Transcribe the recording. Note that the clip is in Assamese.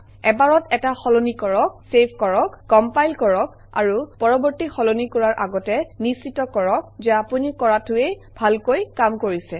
এবাৰত এটা সলনি কৰক চেভ কৰক কমপাইল কৰক আৰু পৰৱৰ্তী সলনি কৰাৰ আগতে নিশ্চিত কৰক যে আপুনি কৰাটোৱে ভালকৈ কাম কৰিছে